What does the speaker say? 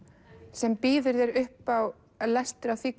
sem býður þér upp á lestur af því